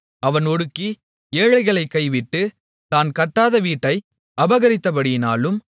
அவன் ஒடுக்கி ஏழைகளைக் கைவிட்டு தான் கட்டாத வீட்டை அபகரித்தபடியினாலும்